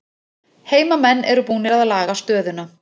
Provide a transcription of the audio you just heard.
Heimamenn eru búnir að laga stöðuna